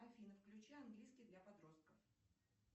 афина включи английский для подростков